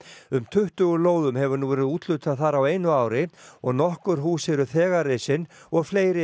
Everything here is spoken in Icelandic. um tuttugu lóðum hefur nú verið úthlutað þar á einu ári og nokkur hús eru þegar risin og fleiri